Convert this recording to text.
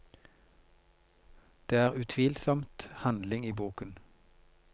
Det er utvilsomt handling i boken.